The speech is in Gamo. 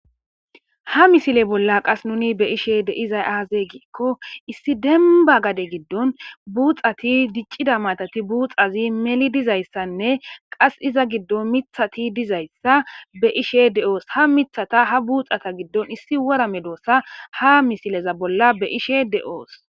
Ha misile bolla qase nu be'ishe de'izay aze giko issi demba gade giddon buxati , dicida matati , buuxazi meli dizaysanne qasi iza giddon mithati dizaysa be'ishe de'os . Ha Mithata ha buxata giddon issi wora medosa ha misileza bolla be'ashe de'os.